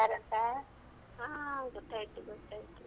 ಹಾ ಗೊತ್ತಾಯ್ತು ಗೊತ್ತಾಯ್ತು.